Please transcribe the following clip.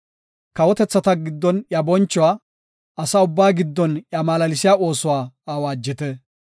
Kawotethata giddon iya bonchuwa, asa ubbaa giddon iya malaalsiya oosuwa awaajite.